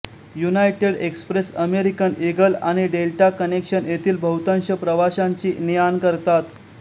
United Express American Eagle आणि Delta Connection येथील बहुतांश प्रवाशांची नेआण करतात